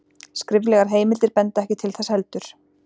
Skriflegar heimildir benda ekki til þess heldur.